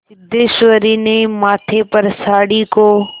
सिद्धेश्वरी ने माथे पर साड़ी को